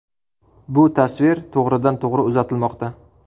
Bu tasvir to‘g‘ridan to‘g‘ri uzatilmoqda.